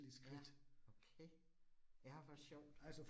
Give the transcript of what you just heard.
Ja, okay. Ja, hvor sjovt